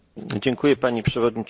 Pani Przewodnicząca!